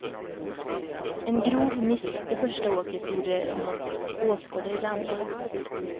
En grov miss i första åket gjorde honom till åskådare i det andra.